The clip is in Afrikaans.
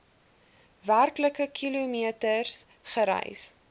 werklike kilometers gereis